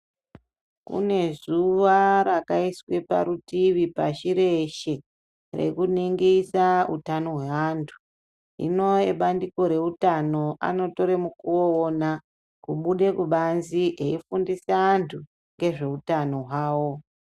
Kune zuva rakaiswe parutivi pashi reshe rekuningisa utano hweantu. Hino ebandiko reutano anotore mukuwo uwona kubude kubanze eifundise antu ngezveutano hwavo.